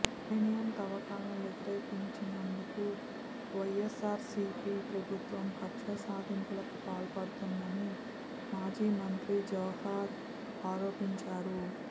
uranium తవ్వకాలను వ్యతిరేకించినందుకు YSRCP ప్రభుత్వం కక్షసాధింపులకు పాల్పడుతోందని మాజీ మంత్రి జవహర్ ఆరోపించారు